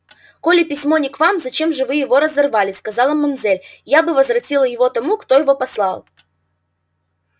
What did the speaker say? коли письмо не к вам зачем же вы его разорвали сказала мамзель я бы возвратила его тому кто его послал